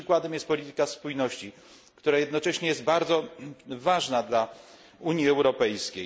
Przykładem jest polityka spójności, która jednocześnie jest bardzo ważna dla Unii Europejskiej.